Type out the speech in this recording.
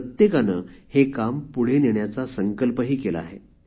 प्रत्येकाने हे काम पुढे नेण्याचा संकल्पही केला आहे